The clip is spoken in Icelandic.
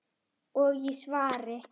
og í svari